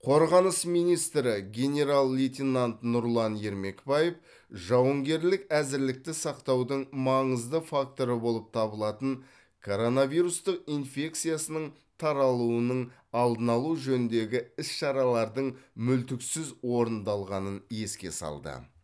қорғаныс министрі генерал лейтенант нұрлан ермекбаев жауынгерлік әзірлікті сақтаудың маңызды факторы болып табылатын коронавирустық инфекциясының таралуының алдын алу жөніндегі іс шаралардың мүлтіксіз орындалғанын еске салды